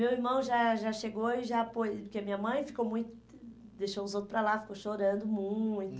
Meu irmão já já chegou e já apoi, porque minha mãe ficou muito, deixou os outros para lá, ficou chorando muito.